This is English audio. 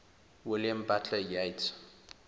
william butler yeats